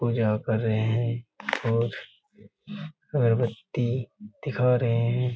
पूजा कर रहे है और अगरबत्ती दिखा रहे हैं।